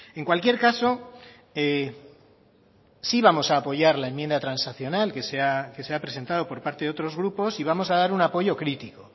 en cualquier caso sí vamos a apoyar la enmienda transaccional que se ha presentado por parte de otros grupos y vamos a dar un apoyo crítico